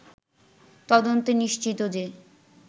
তদন্তে নিশ্চিত যে